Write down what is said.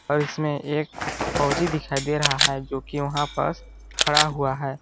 और इसमें एक फौजी दिखाई दे रहा है जो कि वहाँ पास खड़ा हुआ है।